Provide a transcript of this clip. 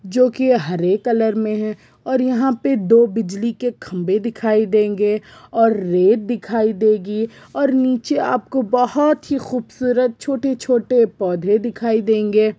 जो की हरे कलर मे है और यहाँ पे दो बिजली के खम्भे दिखाई देगी और रेत दिखाई देगी और नीचे आपको बहुत ही खूबसूरत छोटे छोटे पौधे दीखाई देंगे।